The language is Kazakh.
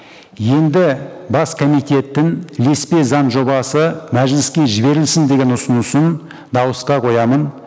енді бас комитеттің ілеспе заң жобасы мәжіліске жіберілсін деген ұсынысын дауысқа қоямын